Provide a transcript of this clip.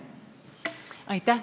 Aitäh!